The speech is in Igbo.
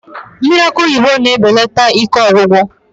Mmiri akị oyibo na-ebelata ike ọgwụgwụ